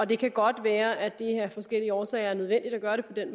det kan godt være at det af forskellige årsager er nødvendigt at gøre på den